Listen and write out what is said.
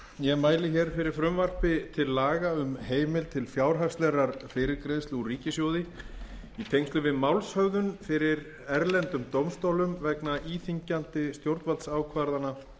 ég mæli hér fyrir frumvarpi til laga um heimild til fjárhagslegrar fyrirgreiðslu úr ríkissjóði í tengslum við málshöfðun fyrir erlendum dómstólum vegna íþyngjandi stjórnvaldsákvarðana